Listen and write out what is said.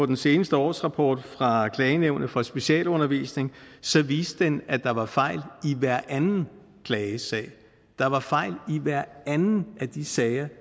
den seneste årsrapport fra klagenævnet for specialundervisning viste den at der var fejl i hver anden klagesag der var fejl i hver anden af de sager